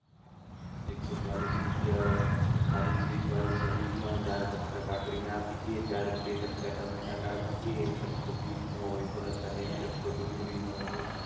એક સો ચાલીસ રૂપિયા ખાલી Chess વાળી Sandwich ના ચાર કટકા કાકડી ના આપી દે, ચાર બે કટકા ટામેટા ના આપી દે ને એક કટકો બીટ નો હોય અને બસ એક કટકો ડુંગરી નો હોય.